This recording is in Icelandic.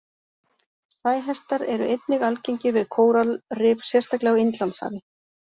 Sæhestar eru einnig algengir við kóralrif sérstaklega á Indlandshafi.